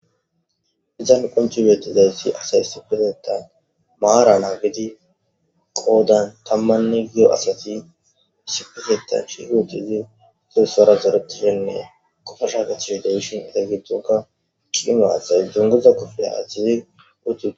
Hizan qonchi wietizay si asay sipeteta maarana gidi qoodan tammanne gio asati isifiteta shihut izi fuusora zeretishennee qofasha gechih deshon eteygitonka qimaaathay junguza kofeya achizi uttu.